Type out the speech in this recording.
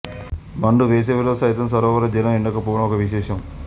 మండు వేసవిలో సైతం సరోవర జలం ఎడకపోవడం ఒక విశేషం